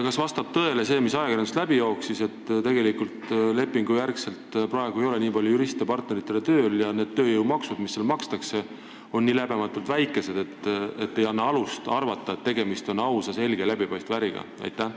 Kas vastab tõele see, mis ajakirjandusest läbi jooksis, et neil ei ole piisavalt lepingulisi juriste, partneritena, ning nende makstavad tööjõumaksud on nii läbematult väikesed, et see ei anna alust arvata, nagu oleks tegemist ausa, selge ja läbipaistva äriga?